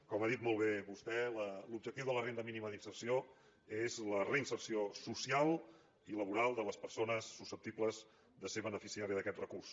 com ha dit molt bé vostè l’objectiu de la renda mínima d’inserció és la reinserció social i laboral de les persones susceptibles de ser beneficiàries d’aquest recurs